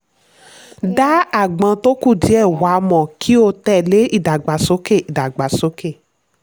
dá aágbọn tó kùdìẹ̀ wà mọ̀ kí o tẹ̀lé ìdàgbàsókè. ìdàgbàsókè.